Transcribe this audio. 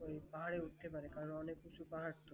পাহাড়ে উঠতে পারে কারণ অনেক উঁচু পাহাড় তো